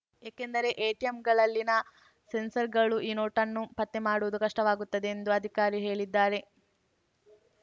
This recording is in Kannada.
ಏಕೆಂದರೆ ಎಟಿಎಂಗಳಲ್ಲಿನ ಸೆನ್ಸರ್‌ಗಳು ಈ ನೋಟನ್ನು ಪತ್ತೆ ಮಾಡುವುದು ಕಷ್ಟವಾಗುತ್ತದೆ ಎಂದು ಆ ಅಧಿಕಾರಿ ಹೇಳಿದ್ದಾರೆ